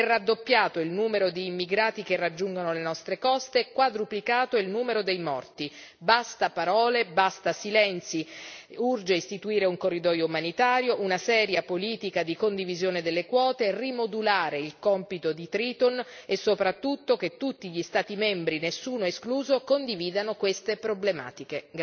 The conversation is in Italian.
È raddoppiato il numero di immigrati che raggiungono le nostre coste e quadruplicato il numero dei morti. Basta parole, basta silenzi, urge istituire un corridoio umanitario, una seria politica di condivisione delle quote, rimodulare il compito di Triton e soprattutto che tutti gli Stati membri, nessuno escluso condividano queste problematiche.